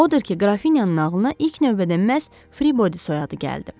Odur ki, Qrafinyanın nağılına ilk növbədə məhz Fribody soyadı gəldi.